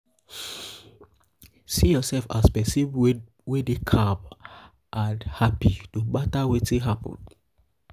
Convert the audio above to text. see urself as pesin wey dey calm and calm and hapi no mata wetin happen